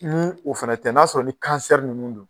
Ni o fana tɛ n'a sɔrɔ ni ninnu don